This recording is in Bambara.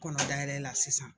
Kɔnɔ dayɛlɛla sisan